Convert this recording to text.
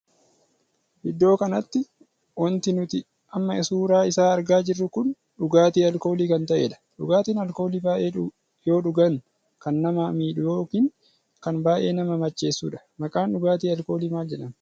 Iddoo kanatti wanti nuti amma suuraa isaa argaa jirru kun dhugaatii alkoolii kan tahedha. dhugaatiin alkoolii baay'ee yoo dhugaan kan namaa miidhuu ykn kan baay'ee nama macheessudha. maqaan dhugaatii alkoolii maal jedhama?